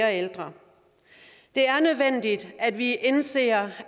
af ældre det er nødvendigt at vi indser